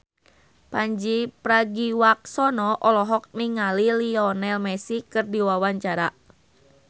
Pandji Pragiwaksono olohok ningali Lionel Messi keur diwawancara